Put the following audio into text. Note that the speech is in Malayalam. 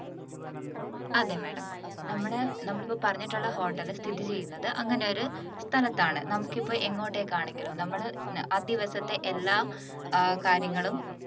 അതേ madam നമ്മള് നമ്മളിപ്പോ പറഞ്ഞിട്ടുള്ള hotel സ്ഥിതി ചെയ്യുന്നത് അങ്ങനെയൊരു സ്ഥലത്താണ് നമുക്കിപ്പോൾ എങ്ങോട്ടേക്ക് ആണെങ്കിലും നമ്മള് ആ ദിവസത്തെ എല്ലാ ഏർ കാര്യങ്ങളും